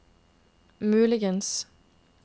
muligens